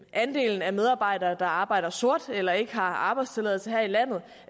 andelen af medarbejdere der arbejder sort eller ikke har arbejdstilladelse her i landet